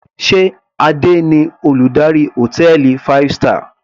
Sé Adé ni Olùdarí hòtẹ́ẹ̀lì five star.